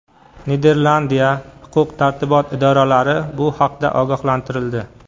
Niderlandiya huquq-tartibot idoralari bu haqda ogohlantirildi.